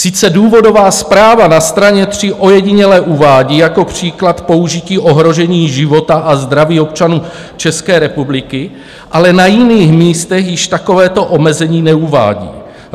Sice důvodová zpráva na straně 3 ojediněle uvádí jako příklad použití ohrožení života a zdraví občanů České republiky, ale na jiných místech již takovéto omezení neuvádí.